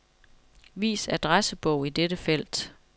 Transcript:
Vis adressebog i dette felt.